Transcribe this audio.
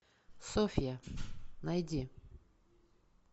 софья найди